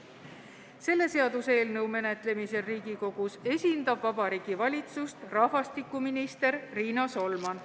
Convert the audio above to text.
Selle seaduseelnõu menetlemisel Riigikogus esindab Vabariigi Valitsust rahvastikuminister Riina Solman.